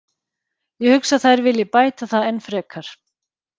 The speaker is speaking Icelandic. Ég hugsa að þær vilji bæta það enn frekar.